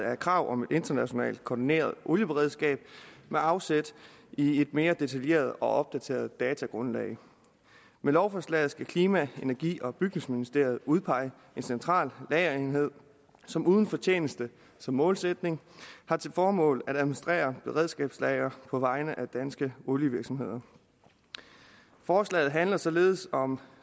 er et krav om et internationalt koordineret olieberedskab med afsæt i et mere detaljeret og opdateret datagrundlag med lovforslaget skal klima energi og bygningsministeriet udpege en central lagerenhed som uden fortjeneste som målsætning har til formål at administrere beredskabslagre på vegne af danske olievirksomheder forslaget handler således om